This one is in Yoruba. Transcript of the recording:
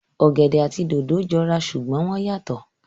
Ọ̀gẹ̀dẹ̀ àti dòdò jọ ra ṣùgbọ́n wọ́n yàtọ̀